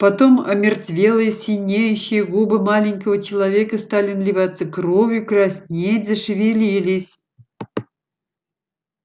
потом омертвелые синеющие губы маленького человека стали наливаться кровью краснеть зашевелились